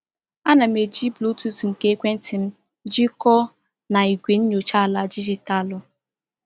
A na m eji Bluetooth nke ekwentị m jikọọ na igwe nyocha ala dijitalụ.